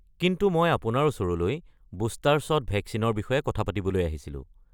কিন্তু মই আপোনাৰ ওচৰলৈ বুষ্টাৰ শ্বট ভেকচিনৰ বিষয়ে কথা পাতিবলৈ আহিছিলোঁ।